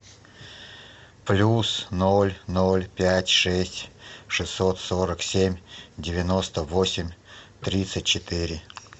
плюс ноль ноль пять шесть шестьсот сорок семь девяносто восемь тридцать четыре